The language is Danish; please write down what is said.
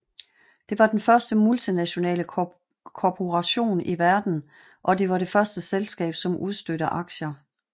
Det var den første multinationale korporation i verden og det var det første selskab som udstedte aktier